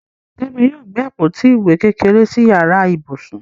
Kẹ́mi yóò gbé àpótí ìwé kékeré sí yàrá ibùsùn.